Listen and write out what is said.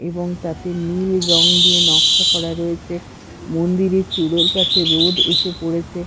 এবং তাতে নীল রঙ দিয়ে নকশা করা রয়েছে মন্দিরের চুড়োর কাছে রোদ এসে পড়েছে।